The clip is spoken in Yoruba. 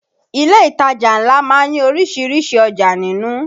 Ilé ìtajà ńlá má ń ní orísìírísìí ọjà nínú